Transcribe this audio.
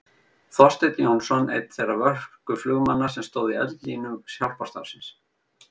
Þorsteinn Jónsson einn þeirra vösku flugmanna sem stóðu í eldlínu hjálparstarfsins.